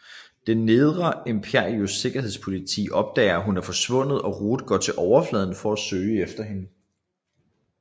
Det Nedre Imperiums Sikkerhedspoliti opdager at hun er forsvundet og Root går til overfladen for at søge efter hende